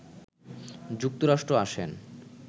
যুক্তরাষ্ট্র আসেন